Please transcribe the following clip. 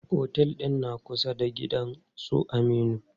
Otel ɗin na kusa da gidan su Aminu.